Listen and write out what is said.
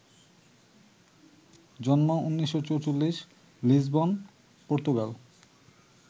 জন্ম ১৯৪৪, Lisbon, Portugal